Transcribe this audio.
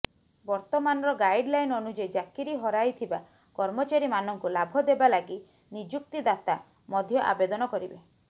ବର୍ତ୍ତମାନର ଗାଇଡଲାଇନ ଅନୁଯାୟୀ ଚାକିରି ହରାଇଥିବା କର୍ମଚାରୀମାନଙ୍କୁ ଲାଭ ଦେବା ଲାଗି ନିଯୁକ୍ତିଦାତା ମଧ୍ୟ ଆବେଦନ କରିବେ